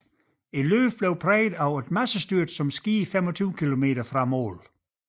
Løbet blev præget af et massestyrt som skete 25 km fra mål